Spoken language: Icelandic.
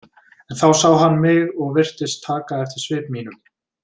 En þá sá hann mig og virtist taka eftir svip mínum.